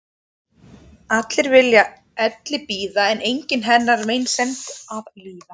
Allir vilja elli bíða en enginn hennar meinsemd að líða.